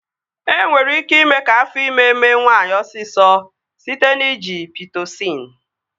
E nwere ike ime ka afọ ime mee nwaanyị osisọ site n'iji Pitosịn